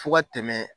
Fo ka tɛmɛ